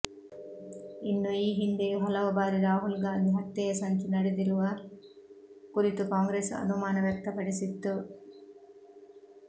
ಇನ್ನು ಈ ಹಿಂದೆಯೂ ಹಲವು ಬಾರಿ ರಾಹುಲ್ ಗಾಂಧಿ ಹತ್ಯೆಯ ಸಂಚು ನಡೆದಿರುವ ಕುರಿತು ಕಾಂಗ್ರೆಸ್ ಅನುಮಾನ ವ್ಯಕ್ತಪಡಿಸಿತ್ತು